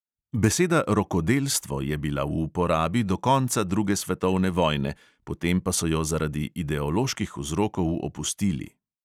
Beseda rokodelstvo je bila v uporabi do konca druge svetovne vojne, potem pa so jo zaradi ideoloških vzrokov opustili.